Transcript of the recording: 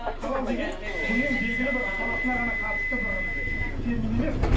халал деген діннің белгілі бір саласына ғана қатысты бір термин емес